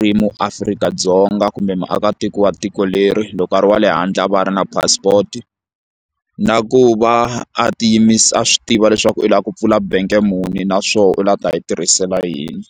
ri muAfrika-Dzonga kumbe muakatiko wa tiko leri loko a ri wa le handle va ri na passport na ku va a a swi tiva leswaku u lava ku pfula bank muni naswona u lava ku ta yi tirhisela yini.